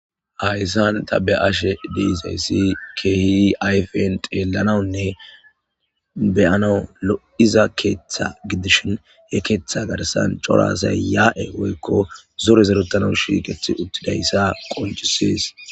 Hayssan ta be ashe diizayssi kehi ayfen xeellanawunne beyanau lo'iza keeththa gidishin he keeththa garsan corasay yaa'e woykko zore zeruttana shiiqethi uttidayssa qoncisees